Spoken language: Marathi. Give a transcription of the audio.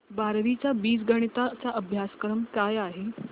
बारावी चा बीजगणिता चा अभ्यासक्रम काय आहे